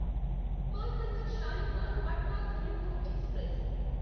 Kolkata Shalimar Patna Duronto express